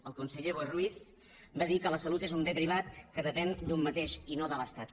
el conseller boi ruiz va dir que la salut és un bé privat que depèn d’un mateix i no de l’estat